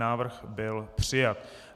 Návrh byl přijat.